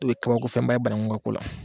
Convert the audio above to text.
O ye kabako fɛnba ye banangu ka ko la